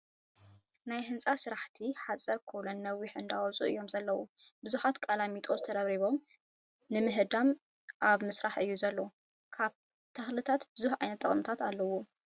ናይ ህንፃ ስራሕቲ ሓፀር ኮለን ነዊሕ እንዳኣውፁኡ እዮም ዘለው። ብዙሓት ቃላሚጣሶስ ተረብሪቦም ንምህዳም ኣብ ምስራሕ እዩ ዘሎ። ካብ ተኽሊታት ብዙ ዓይነታት ጠቅምቲታት ኣለውዎ።